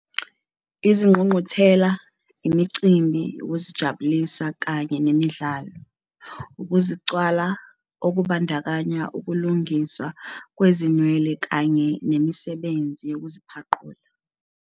Izingqungquthela, imicimbi, ukuzijabulisa kanye nemidlalo. Ukuzicwala, okubandakanya ukulungiswa kwezinwele kanye nemisebenzi nokuziphaqula.